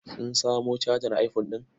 Sun samo cajar iphone ɗin.